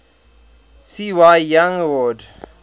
cy young awards